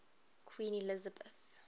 queen elizabeth